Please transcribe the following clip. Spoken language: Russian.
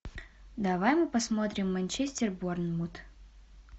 давай мы посмотрим манчестер борнмут